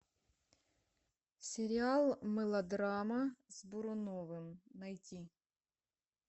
сериал мылодрама с буруновым найти